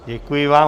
Děkuji vám.